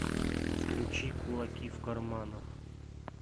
включи кулаки в карманах